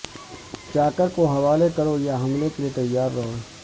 چاکر کو حوالے کرو یا حملے کے لیے تیار رہو